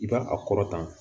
I b'a a kɔrɔtan